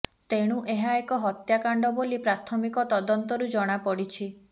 ତେଣୁ ଏହା ଏକ ହତ୍ୟାକାଣ୍ଡ ବୋଲି ପ୍ରାଥମିକ ତଦନ୍ତରୁ ଜଣାପଡିଛି